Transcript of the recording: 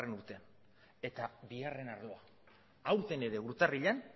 urtean eta bigarren arloa aurten ere urtarrilean